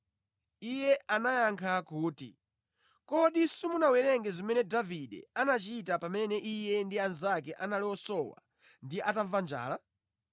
Iye anayankha kuti, “Kodi simunawerenge zimene Davide anachita pamene iye ndi anzake anali osowa ndi anamva njala?